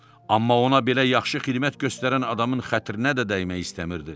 Amma ona belə yaxşı xidmət göstərən adamın xətrinə də dəymək istəmirdi.